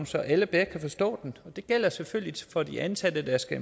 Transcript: så alle bedre kan forstå den det gælder selvfølgelig for de ansatte der skal